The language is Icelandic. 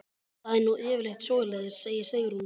Það er nú yfirleitt svoleiðis, segir Sigrún.